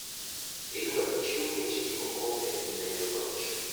idwaro chiw mich gi kiombe ne jaloch